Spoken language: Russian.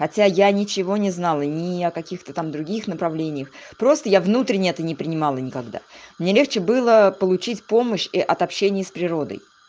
хотя я ничего не знала ни о каких-то там других направлениях просто внутренние ты не принимала никогда мне легче было получить помощь и от общения с природой